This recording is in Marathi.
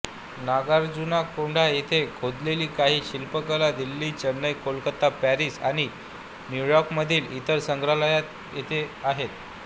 नागार्जुनकोंडा येथे खोदलेल्या काही शिल्पकला दिल्ली चेन्नई कोलकाता पॅरिस आणि न्यूयॉर्कमधील इतर संग्रहालये येथे आहेत